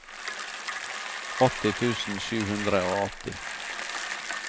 åtti tusen sju hundre og åtti